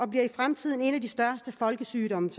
bliver i fremtiden en af de største folkesygdomme